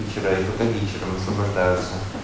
и вчера и только вечером освобождаются